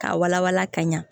K'a wala wala ka ɲa